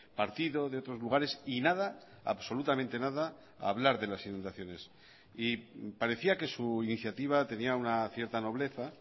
partido de otros lugares y nada absolutamente nada a hablar de las inundaciones y parecía que su iniciativa tenía una cierta nobleza